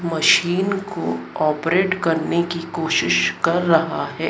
Machine को operate करने की कोशिश कर रहा है।